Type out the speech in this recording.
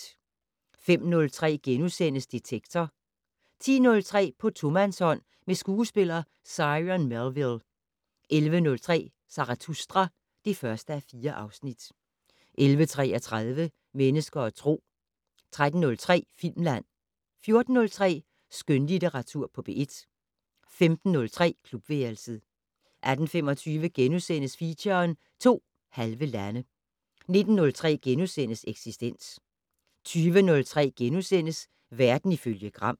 05:03: Detektor * 10:03: På tomandshånd med skuespiller Cyron Melville 11:03: Zarathustra (1:4) 11:33: Mennesker og Tro 13:03: Filmland 14:03: Skønlitteratur på P1 15:03: Klubværelset 18:25: Feature: To halve lande * 19:03: Eksistens * 20:03: Verden ifølge Gram *